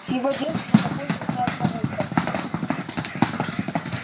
с его детства папульку знает мамулька